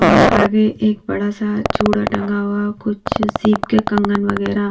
और आगे एक बड़ा सा चूड़ा टंगा हुआ कुछ सिक्के कंगन वगैरा।